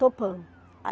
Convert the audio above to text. Topamos.